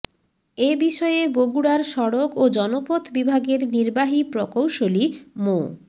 এ বিষয়ে বগুড়ার সড়ক ও জনপথ বিভাগের নির্বাহী প্রকৌশলী মো